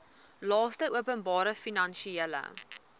laste openbare finansiële